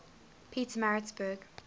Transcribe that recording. pietermaritzburg